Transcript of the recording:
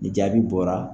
Ni jaabi bɔra